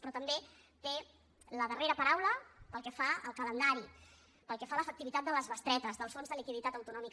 però també té la darrera paraula pel que fa al calendari pel que fa a l’efectivitat de les bestretes del fons de liquiditat autonòmic